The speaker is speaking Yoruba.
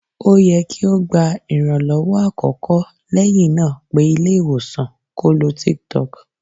O yẹ ki o gba iranlọwọ akọkọ lẹhinna pe ile-iwosan ko lo tiktok